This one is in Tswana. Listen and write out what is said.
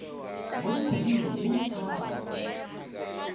mo dikgweding di le tharo